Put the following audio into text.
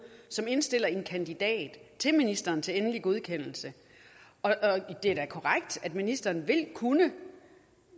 som indstiller en kandidat til ministeren til endelig godkendelse det er da korrekt at ministeren vil kunne